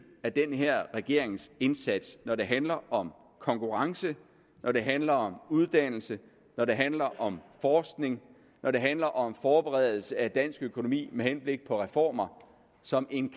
af den her regerings indsats når det handler om konkurrence når det handler om uddannelse når det handler om forskning når det handler om forberedelse af dansk økonomi med henblik på reformer som en